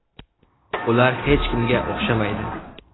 Ular hech kimga o‘xshamaydi.